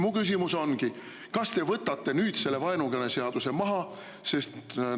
Mu küsimus ongi: kas te võtate nüüd selle vaenukõneseaduse maha?